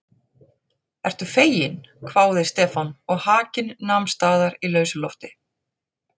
Ertu feginn? hváði Stefán og hakinn nam staðar í lausu lofti.